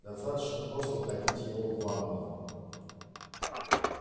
достаточно просто утопить его в ванной